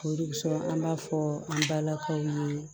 O de sɔrɔ an b'a fɔ an balakaw ye